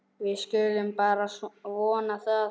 Við skulum bara vona að